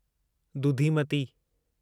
दुधीमती